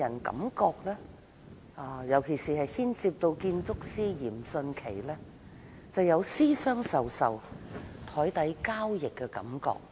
整件事情，特別是當牽涉建築師嚴迅奇，予人私相授受和檯底交易的感覺。